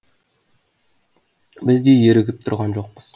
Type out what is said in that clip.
біз де ерігіп тұрған жоқпыз